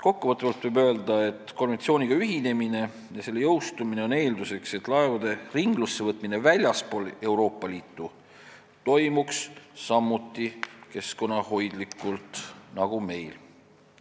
Kokkuvõtvalt võib öelda, et konventsiooniga ühinemine ja selle jõustumine on eeldus, et laevade ringlussevõtmine väljaspool Euroopa Liitu toimuks samuti keskkonnahoidlikult nagu meil.